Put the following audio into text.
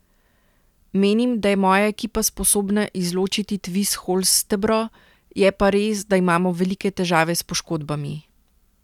Menim, da je moja ekipa sposobna izločiti Tvis Holstebro, je pa res, da imamo velike težave s poškodbami.